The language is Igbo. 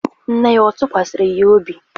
Nne ya ọ̀ tụkwasịrị ya obi?